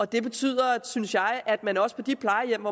det betyder synes jeg at man også på de plejehjem